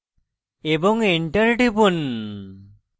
এবং enter টিপুন